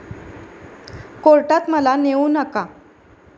कोर्टात मला नेऊ नका